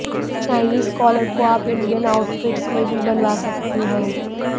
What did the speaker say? Chinese collar को आप Indian outfits में भी बनवा सकती हैं